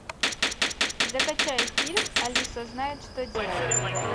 закачай фильм алиса знает что делать